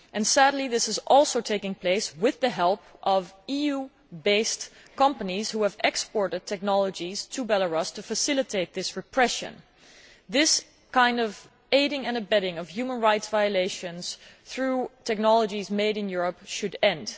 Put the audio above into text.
Sadly this is also taking place with the help of EU based companies who have exported technologies to Belarus to facilitate this repression. This kind of aiding and abetting of human rights violations through technologies made in Europe should end.